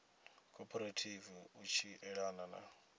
khophorethivi u tshi elana na